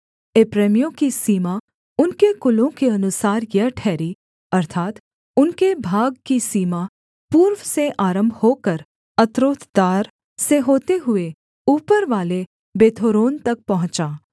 एप्रैमियों की सीमा उनके कुलों के अनुसार यह ठहरी अर्थात् उनके भाग की सीमा पूर्व से आरम्भ होकर अत्रोतदार से होते हुए ऊपरवाले बेथोरोन तक पहुँचा